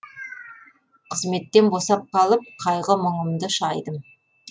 қызметтен босап қалып қайғы мұңымды шайдым